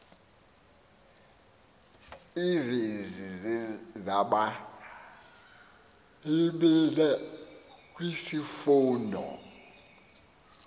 iivesi zebhayibhile kwisifundo